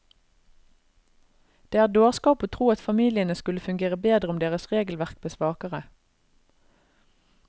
Det er dårskap å tro at familiene skulle fungere bedre om deres regelverk blir svakere.